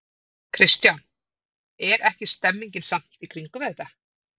Kristján: Er ekki stemning samt í kringum þetta?